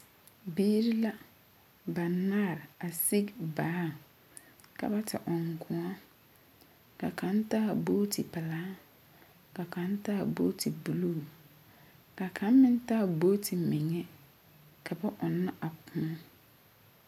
Biiri la banaare a sigi baaŋ ka ba te ɔŋ kõɔ ka kaŋ taa buuti pelaa ka kaŋ taa buuti buluu ka kaŋa meŋ taa buuti meŋa ka ba ɔnnɔ a kõɔ.